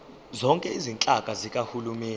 zonke izinhlaka zikahulumeni